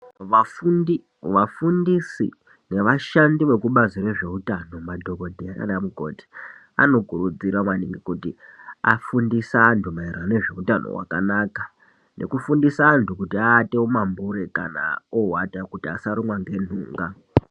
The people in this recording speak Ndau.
Vafundi, vafundisi nevashandi vekubazi rezveutano madhokodheya nana mukoti anokurudzira maningi kuti afundise antu maererano nezveutano wakanaka nekufundisa antu kuti vaate mumambure kana oata kuti asarumwa ngenhunga.